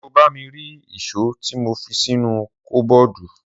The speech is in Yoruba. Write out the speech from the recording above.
Sọ bà mi ri ìsó ti mo físìnú kọbọdù?